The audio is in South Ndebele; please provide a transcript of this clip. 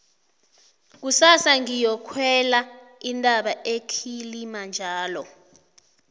kusasa ngiyokukhwela intaba ekilimajaro